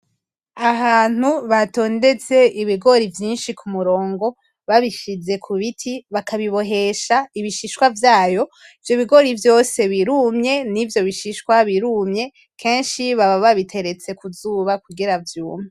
Ahantu batondetse ibigori vyinshi ku murongo babishize kubiti bakabibohesha ibishsishwa vyayo, ivyo bigori vyose birumye nivyo bishishwa birumye kenshi baba babiteretse kuzuba kugira vyumye.